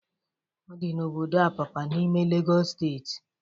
Ọ dị n':obodo Apapa n'ime Legọs steeti